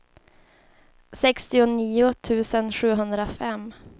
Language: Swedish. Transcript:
sextionio tusen sjuhundrafem